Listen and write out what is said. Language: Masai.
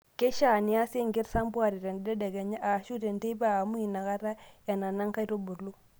Keishaa neiaasi ekisampuare tentedekenya ashuu tenteipa amuu inakata enana nkaitubulu.